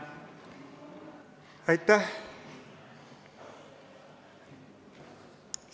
Aitäh!